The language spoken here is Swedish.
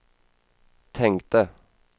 tänkte